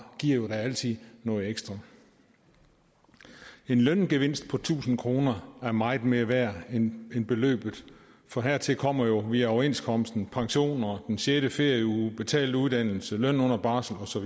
giver jo da altid noget ekstra en løngevinst på tusind kroner er meget mere værd end beløbet for hertil kommer jo via overenskomsten pension den sjette ferieuge betalt uddannelse løn under barsel og så